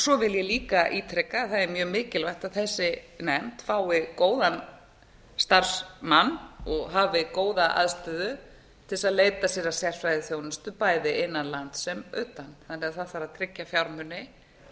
svo vil ég líka ítreka að það er mjög mikilvægt að þessi nefnd fái góðan starfsmann og hafi góða aðstöðu til þess að leita sér að sérfræðiþjónustu bæði innan lands sem utan þannig að það þarf að tryggja fjármuni til að